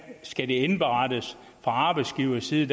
skal indberettes fra arbejdsgiverside